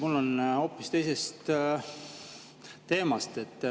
Mul on küsimus hoopis teisel teemal.